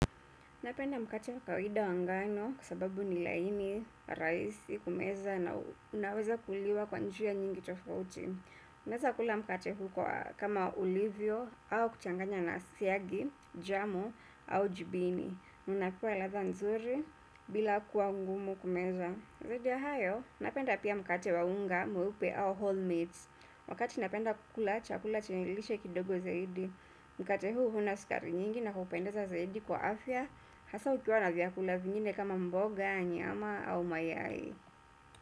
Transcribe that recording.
Napenda mkate wakawaida wa ngano kwa sababu ni laini, rahisi kumeza na unaweza kuliwa kwa njia nyingi tofauti. Unaweza kula mkate huu kama ulivyo au kuchanganya na siagi, jamu au jibini. Unakua radha nzuri bila kuwa ngumu kumeza. Zaidi ya hayo, napenda pia mkate wa unga mweupe au whole meals. Wakati napenda kukula chakula chenye lishe kidogo zaidi. Mkate huu huna sukari nyingi na kupendeza zaidi kwa afya. Hasa ukiwa na vyakula vingine kama mboga, nyama au mayai.